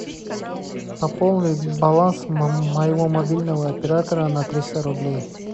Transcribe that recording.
пополни баланс моего мобильного оператора на триста рублей